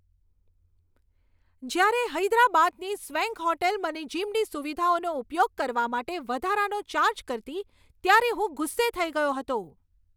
જ્યારે હૈદરાબાદની swank hotel મને જીમની સુવિધાઓનો ઉપયોગ કરવા માટે વધારાનો ચાર્જ કરતી ત્યારે હું ગુસ્સે થઈ ગયો હતો.